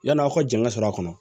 Yann'aw ka jɛngɛ sɔr'a kɔnɔ